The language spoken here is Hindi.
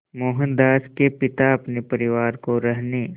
मोहनदास के पिता अपने परिवार को रहने